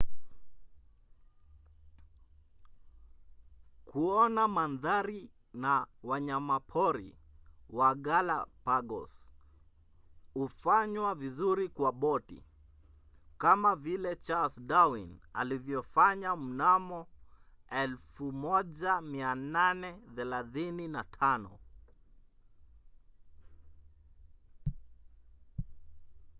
kuona mandhari na wanyamapori wa galapagos hufanywa vizuri kwa boti kama vile charles darwin alivyofanya mnamo 1835